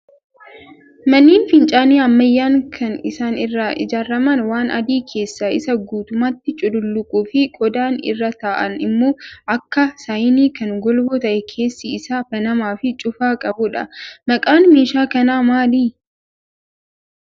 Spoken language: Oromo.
Manneen fincaanii ammayyaan kan isaan irraa ijaaraman waan adii keessi isaa guutummaatti cululuquu fi qodaan irra taa'an immoo akka saayinii kan golboo ta'ee keessi isaa banamaa fi cufaa qabudha. Maqaan meeshaa kanaa maali?